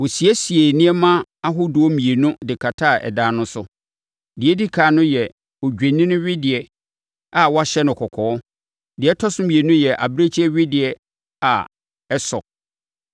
Wɔsiesiee nneɛma ahodoɔ mmienu de kataa ɛdan no so. Deɛ ɛdi ɛkan no yɛ odwennini wedeɛ a wɔahyɛ no kɔkɔɔ, deɛ ɛtɔ so mmienu yɛ abirekyie wedeɛ a ɛsɔ.